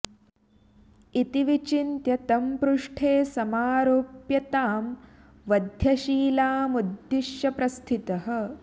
इति विचिन्त्य तं पृष्ठे समारोप्य तां वध्यशिलामुद्दिश्य प्रस्थितः